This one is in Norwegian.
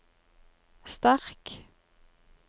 sterk